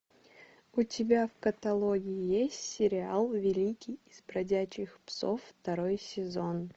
у тебя в каталоге есть сериал великий из бродячих псов второй сезон